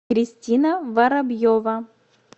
кристина воробьева